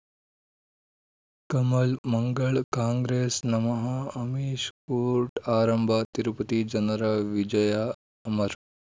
ಕಮಲ್ ಮಂಗಳ್ ಕಾಂಗ್ರೆಸ್ ನಮಃ ಅಮಿಷ್ ಕೋರ್ಟ್ ಆರಂಭ ತಿರುಪತಿ ಜನರ ವಿಜಯ ಅಮರ್